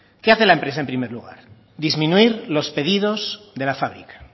qué hace la empresa en primer lugar disminuir los pedidos de la fábrica